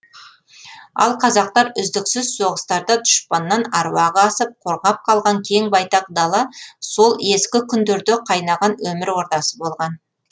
ал қазақтар үздіксіз соғыстарда дұшпаннан аруағы асып қорғап қалған кең байтақ дала сол ескі күндерде қайнаған өмір ордасы болған